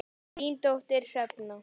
Þín dóttir, Hrefna.